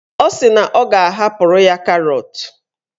Ọ sị na ọ ga-ahapụrụ ya karọt.